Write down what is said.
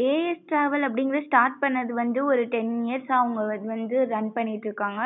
as travel அப்படிங்குறது start பண்ணது வந்து ஒரு ten years யா அவுங்க வந்து run பண்ணிட்டு இருக்காங்க